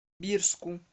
бирску